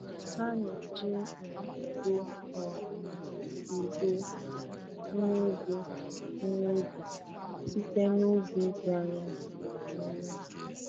Ha na-eji ịnyịnya ebu um ibu ihe ibu ihe ubi site n'ubi dị anya. um